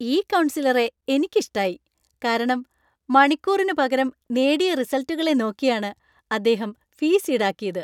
ഈ കൗൺസിലറെ എനിക്ക് ഇഷ്ടായി, കാരണം മണിക്കൂറിന് പകരം നേടിയ റിസൽറ്റുകളെ നോക്കിയാണ് അദ്ദേഹം ഫീസ് ഈടാക്കിയത്.